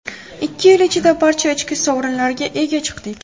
Ikki yil ichida barcha ichki sovrinlarga ega chiqdik.